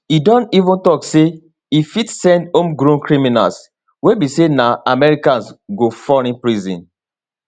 e don even tok say e fit send homegrown criminals wey be say na americans go foreign prisons